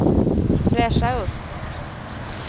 fräscha upp